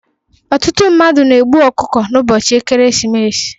Ọtụtụ mmadụ na-egbu ọkụkọ n'ụbọchị ekeresimesi